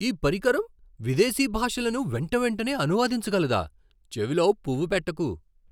ఈ పరికరం విదేశీ భాషలను వెంటవెంటనే అనువదించగలదా? చెవిలో పువ్వు పెట్టకు!